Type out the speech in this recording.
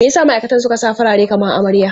Me ya sa ma'aikatan suka sa farare kamar amarya?